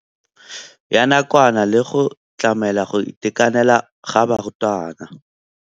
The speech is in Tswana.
Ya nakwana le go tlamela go itekanela ga barutwana.